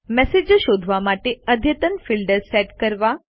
મેસેજો શોધવા માટે અદ્યતન ફિલ્ટર્સ સેટ કરો